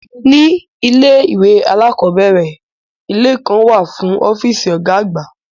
Ní ilé ìwé alákọ̀ọ́bẹ̀rẹ̀, ilé kan wà fún ọ́fíìsì Ọ̀gá àgbà